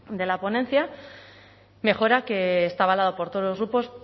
de la ponencia mejora que está avalado por todos los grupos